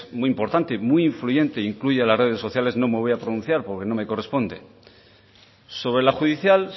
muy importante y muy influyente incluye a las redes sociales no me voy a pronunciar porque no me corresponde sobre la judicial